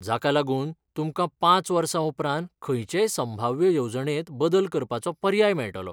जाका लागून तुमकां पांच वर्सां उपरांत खंयचेय संभाव्य येवजणेंत बदल करपाचो पर्याय मेळटलो.